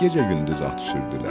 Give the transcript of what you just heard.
Gecə-gündüz at sürdülər.